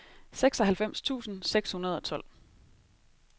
seksoghalvfems tusind seks hundrede og tolv